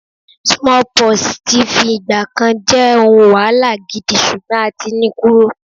smallpox ti f'igba kan je ohun wahala gidi, sugbon a ti ni kúrò